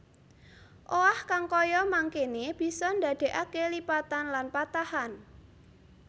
Owah kang kaya mangkéne bisa ndandékaké lipatan lan patahan